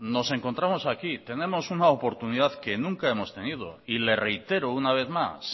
nos encontramos aquí tenemos una oportunidad que nunca hemos tenido y le reitero una vez más